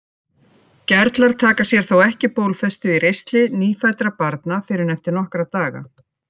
Gerlar taka sér þó ekki bólfestu í ristli nýfæddra barna fyrr en eftir nokkra daga.